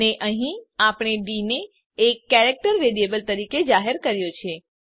અને અહીં આપણે ડી ને એક કેરેક્ટર વેરીએબલ તરીકે જાહેર કર્યો છે